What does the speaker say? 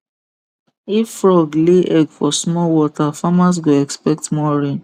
if frog lay egg for small water farmers go expect more rain